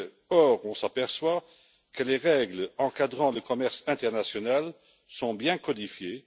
Or, on s'aperçoit que les règles encadrant le commerce international sont bien codifiées